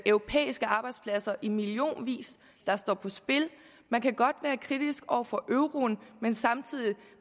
europæiske arbejdspladser i millionvis der står på spil man kan godt være kritisk over for euroen men samtidig